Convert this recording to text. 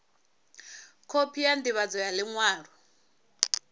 khophi ya ndivhadzo ya liṅwalo